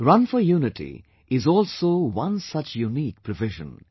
'Run for Unity' is also one such unique provision